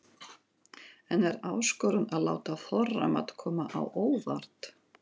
En er áskorun að láta þorramat koma á óvart?